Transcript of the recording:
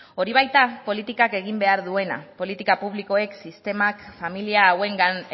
hori da politikak egin behar duena politika publikoek sistemak familia hauengan